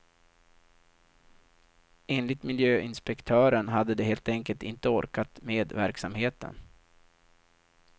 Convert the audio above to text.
Enligt miljöinspektören hade de helt enkelt inte orkat med verksamheten.